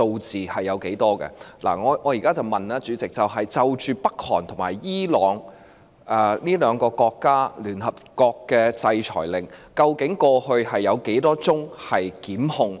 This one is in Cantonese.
主席，我現在問的是，就朝鮮及伊朗這兩個國家的聯合國制裁令，過去究竟有多少宗檢控？